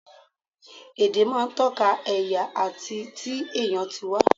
Èdè máa ń tọ́ka ẹ̀yà àti ti èèyàn tí wá